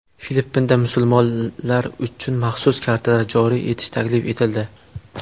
Filippinda musulmonlar uchun maxsus kartalar joriy etish taklif etildi.